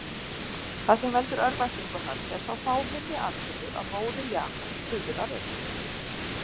Það sem veldur örvæntingu hans er sá fáheyrði atburður að móðir Jakobs fuðrar upp.